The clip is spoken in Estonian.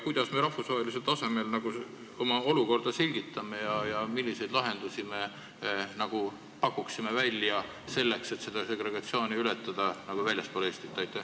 Kuidas me rahvusvahelisel tasemel oma olukorda selgitame ja milliseid lahendusi me pakume väljaspool Eestit välja selleks, et seda segregatsiooni ületada?